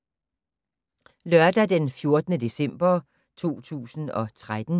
Lørdag d. 14. december 2013